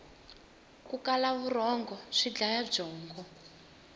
ku kala vurhongo swi dlaya byongo